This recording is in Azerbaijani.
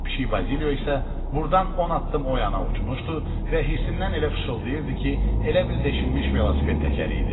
Pişik Bazilyo isə burdan 10 addım o yana uçmuşdu və hirsindən elə fışıltıydı ki, elə bil deşilmiş velosiped təkəri idi.